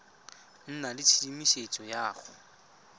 nna le tshedimosetso ya go